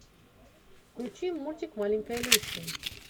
включи мультик маленькая люси